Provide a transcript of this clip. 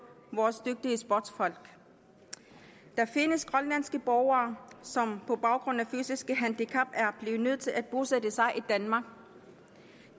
vores dygtige sportsfolk der findes grønlandske borgere som på baggrund af deres fysiske handicap er blevet nødt til at bosætte sig i danmark